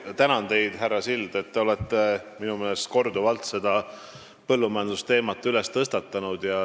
Ma tänan teid, härra Sild, sest te olete minu meelest korduvalt põllumajandusteemat üles tõstnud.